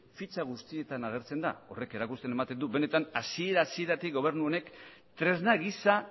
fitxa guztietan agertzen da horrek erakusten edo ematen du benetan hasiera hasieratik gobernu honek tresna gisa